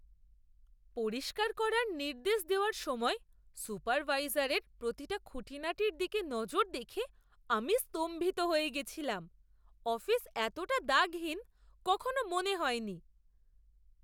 পরিষ্কার করার নির্দেশ দেওয়ার সময় সুপারভাইজারের প্রতিটা খুঁটিনাটির দিকে নজর দেখে আমি স্তম্ভিত হয়ে গেছিলাম। অফিস এতটা দাগহীন কখনো মনে হয়নি!